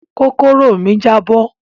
Kókóró mi jabọ.